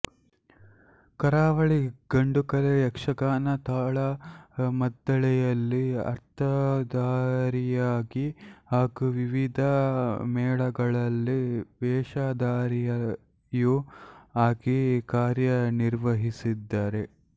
ಕರಾವಳಿಯ ಗಂಡುಕಲೆ ಯಕ್ಷಗಾನ ತಾಳಮದ್ದಳೆಯಲ್ಲಿ ಅರ್ಥದಾರಿಯಾಗಿ ಹಾಗೂ ವಿವಿಧ ಮೇಳಗಳಲ್ಲಿ ವೇಷಧಾರಿಯೂ ಆಗಿ ಕಾರ್ಯ ನಿರ್ವಹಿಸಿದ್ದಾರೆ